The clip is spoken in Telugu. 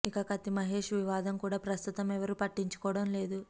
ఇక కత్తి మహేష్ వివాదం కూడా ప్రస్తుతం ఎవరు పట్టించుకోవడం లేదు